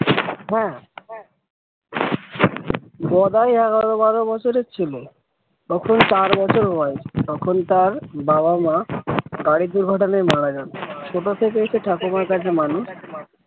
হ্যাঁ গদাই বছরের ছিল তখন বছর বয়স তখন তার বাবা-মা গাড়ির দুর্ঘটনায় মারা যায় ছোট থেকেই ঠাকুমার কাছে মানুষ।